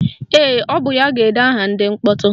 Ee, ọ bụ ya ga-ede aha ndị mkpọtụ